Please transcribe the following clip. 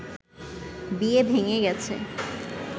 বিয়ে ভেঙ্গে গেছে